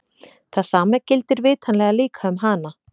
Það sama gildir vitanlega líka um hana!